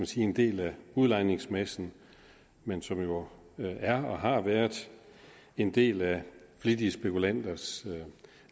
sige en del af udlejningsmassen men som jo er og har været en del af flittige spekulanters